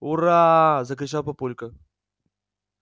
ура закричал папулька